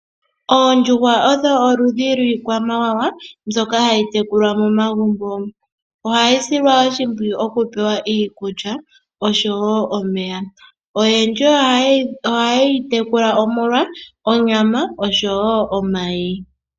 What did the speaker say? Oondjuhwa odho oludhi lwiikwamawawa mbyoka hayi tekulwa momagumbo. Ohayi silwa oshimpwiyu, oku pewa iikulya osho woo omeya. Oyendji oha ye yi tekula molonyama osho woo omayi.